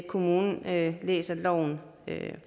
kommunen læser loven